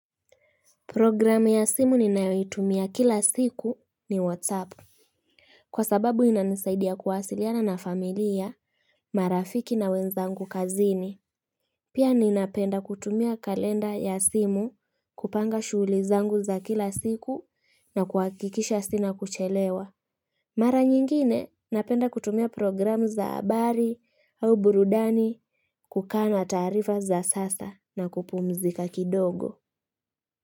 Program ya simu ninayoitumia kila siku ni WhatsApp. Kwa sababu inanisaidia kuwasiliana na familia, marafiki na wenzangu kazini. Pia ninapenda kutumia kalenda ya simu kupanga shughuli zangu za kila siku na kuwakikisha sina kuchelewa. Mara nyingine napenda kutumia program za abari au burudani kukana tarifa za sasa na kupumzika kidogo.